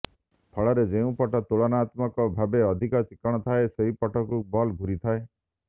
ଫଳରେ ଯେଉଁପଟ ତୁଳନାତ୍ମକ ଭାବେ ଅଧିକ ଚିକ୍କଣ ଥାଏ ସେହିପଟକୁ ବଲ୍ ଘୂରିଥାଏ